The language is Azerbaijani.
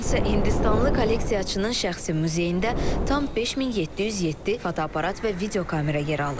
Bu gün isə Hindistanlı kolleksiyaçının şəxsi muzeyində tam 5707 fotoaparat və videokamera yer alır.